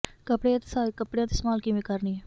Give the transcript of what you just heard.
ਕੱਪੜੇ ਅਤੇ ਸਹਾਇਕ ਕੱਪੜਿਆਂ ਦੀ ਸੰਭਾਲ ਕਿਵੇਂ ਕਰਨੀ ਹੈ